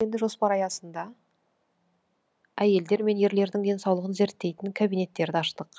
жоспар аясында әйелдер мен ерлердің денсаулығын зерттейтін кабинеттерді аштық